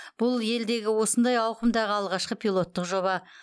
бұл елдегі осындай ауқымдағы алғашқы пилоттық жоба